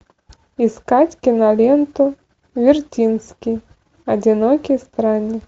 искать киноленту вертинский одинокий странник